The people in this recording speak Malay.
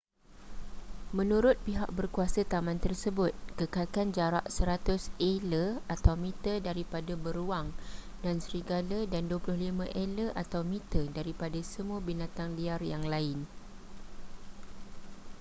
menurut pihak berkuasa taman tersebut kekalkan jarak 100 ela/meter daripada beruang dan serigala dan 25 ela/meter daripada semua binatang liar yang lain!